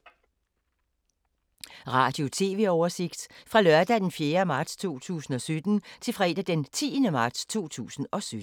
Radio/TV oversigt fra lørdag d. 4. marts 2017 til fredag d. 10. marts 2017